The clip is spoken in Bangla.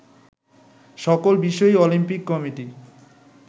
সকল বিষয়ই অলিম্পিক কমিটি